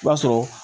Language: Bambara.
I b'a sɔrɔ